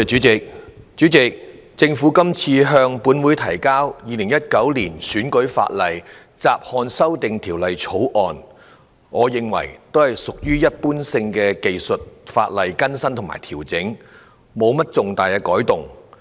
主席，政府今次向本會提交《2019年選舉法例條例草案》，屬於一般技術性的修訂和調整，沒有重大改動。